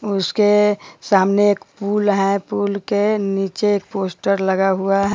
उसके सामने एक पुल है पुल के निचे एक पोस्टर लगा हुआ है।